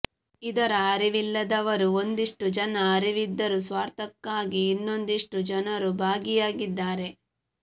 ಇದರ ಅರಿವಿಲ್ಲದವರೂ ಒಂದಿಷ್ಟು ಜನ ಅರಿವಿದ್ದರೂ ಸ್ವಾರ್ಥಕ್ಕಾಗಿ ಇನ್ನೊಂದಿಷ್ಟು ಜನರು ಭಾಗಿಯಾಗಿದ್ದಾರೆ